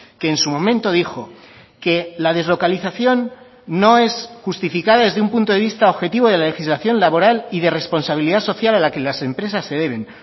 que en su momento dijo que la deslocalización no es justificada desde un punto de vista objetivo de la legislación laboral y de responsabilidad social a la que las empresas se deben